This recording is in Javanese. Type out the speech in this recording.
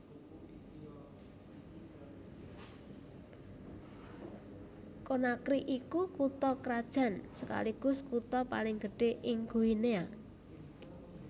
Conakry iku kutha krajan sekaligus kutha paling gedhé ing Guinea